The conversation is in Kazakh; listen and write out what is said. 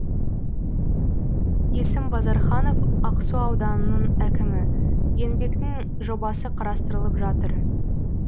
есім базарханов ақсу ауданының әкімі еңбектің жобасы қарастырылып жатыр